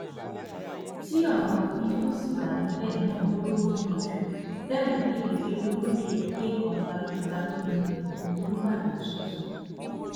tí ọ̀rọ̀ òfin tó ṣì wà níbẹ̀ náà yóò níyanjú bẹ́ẹ̀ ló kéde pé olóyè lẹ́kàn balógun balógun ni olùbàdàn tuntun